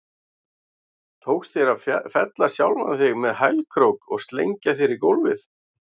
Tókst þér að fella sjálfan þig með hælkrók og slengja þér í gólfið?